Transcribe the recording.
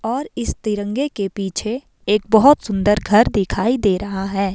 और इस तिरंगे के पीछे एक बहोत सुंदर घर दिखाई दे रहा है।